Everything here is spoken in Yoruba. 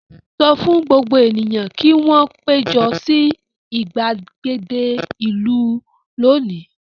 Sọ fún gbogbo ènìyàn kí wọn péjọ sí ìgbàgede ìlú lónìí!